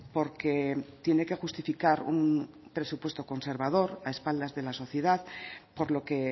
porque tiene que justificar un presupuesto conservador a espaldas de la sociedad por lo que